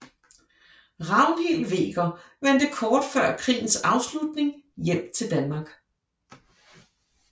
Ragnhild Hveger vendte kort før krigens afslutning hjem til Danmark